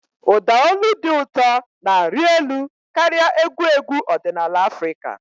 Ụda olu dị ụtọ na-arị elu karịa egwu egwu ọdịnala Afrịka.